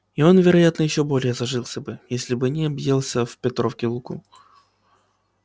и он вероятно ещё более зажился бы если бы не объелся в петровки луку